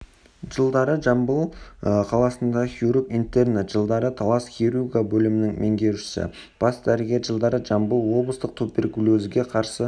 жылдары жамбыл қаласында хирург-интерні жылдары талас хирургия бөлімінің меңгерушісі бас дәрігері жылдары жамбыл облыстық туберкулезге қарсы